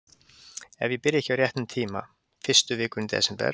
Ef ég byrja ekki á réttum tíma. fyrstu vikuna í desember.